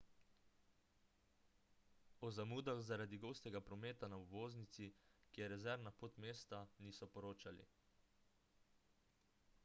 o zamudah zaradi gostega prometa na obvoznici ki je rezervna pot mesta niso poročali